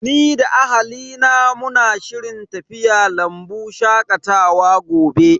Ni da ahalina muna shirin tafiya lambu shakatawa gobe.